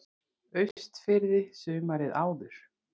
Austurfirði sumarið áður.